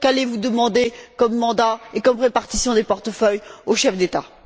Qu'allez vous demander comme mandat et comme répartition des portefeuilles aux chefs d'État?